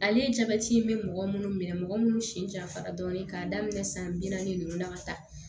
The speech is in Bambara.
Ale jabɛti in bɛ mɔgɔ minnu minɛ mɔgɔ minnu sen dafara dɔɔni k'a daminɛ san bi naani ninnu na ka taa